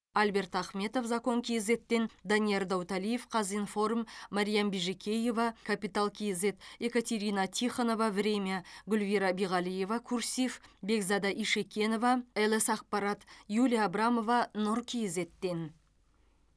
альберт ахметов закон кейзэт тен данияр дауталиев казинформ мариям бижикеева капитал кейзэт екатерина тихонова время гүлвира биғалиева курсив бекзада ишекенова лс ақпарат юлия абрамова нұр кейзэт тен